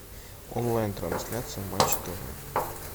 онлайн трансляция матч тв